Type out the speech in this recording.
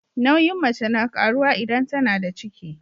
Nauyin mace na karuwa idan tAnada ciki